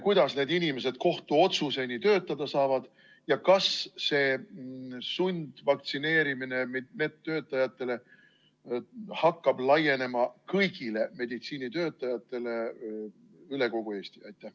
Kuidas need inimesed kohtuotsuseni töötada saavad ja kas see sundvaktsineerimine hakkab laienema kõigile meditsiinitöötajatele üle kogu Eesti?